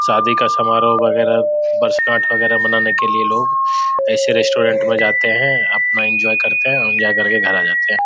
शादी का समारोह वगैरह वर्षगाठ वगैरह मानाने के लिए लोग ऐसे रेस्टोरेंट में जाते है अपना एन्जॉय करते है और जा करके घर आ जाते है।